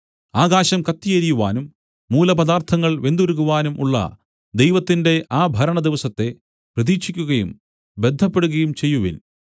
ആകാശം കത്തി എരിയുവാനും മൂലപദാർത്ഥങ്ങൾ വെന്തുരുകുവാനും ഉള്ള ദൈവത്തിന്റെ ആ ഭരണദിവസത്തെ പ്രതീക്ഷിക്കുകയും ബദ്ധപ്പെടുകയും ചെയ്യുവിൻ